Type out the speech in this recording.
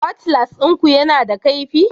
Cutlass ɗinku yana da kaifi?